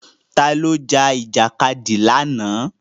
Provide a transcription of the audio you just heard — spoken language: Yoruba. Ta ló jà Ìjàkadì lánàá?